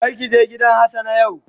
Kar ki je gidan hassana yau.